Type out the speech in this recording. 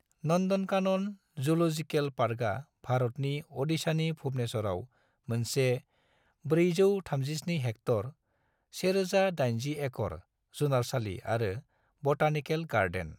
Nandankanan zoological पार्कआ भारतनि ओडिशानि भुवनेश्वरआव मोनसे 437-हेक्टर (1,080-एकड़) जुनारसालि आरो बटानिकेल गार्डेन।